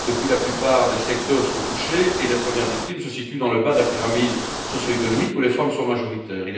Depuis, la plupart des secteurs sont touchés et les premières victimes se situent dans le bas de la pyramide socio économique, où les femmes sont majoritaires.